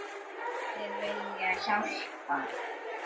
Allir vilja hjálpa.